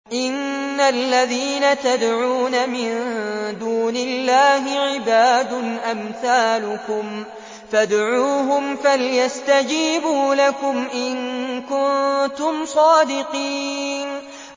إِنَّ الَّذِينَ تَدْعُونَ مِن دُونِ اللَّهِ عِبَادٌ أَمْثَالُكُمْ ۖ فَادْعُوهُمْ فَلْيَسْتَجِيبُوا لَكُمْ إِن كُنتُمْ صَادِقِينَ